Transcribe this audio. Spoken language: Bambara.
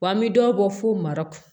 Wa an bɛ dɔ bɔ fo mara